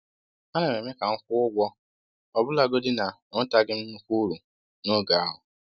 A na m eme ka m kwụọ ụgwọ ọbụlagodi na enwetaghị m nnukwu uru n’oge ahụ.